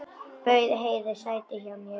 Bauð Heiðu sæti hjá mér.